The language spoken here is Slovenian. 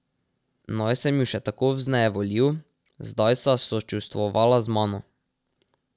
Naj sem ju še tako vznejevoljil, zdaj sta sočustvovala z mano.